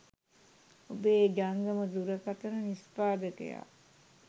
ඔබේ ජංගම දුරකථන නිෂ්පාදකයා